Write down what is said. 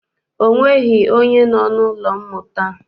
Ọ nweghị onye nọ n'ụlọ mmụta.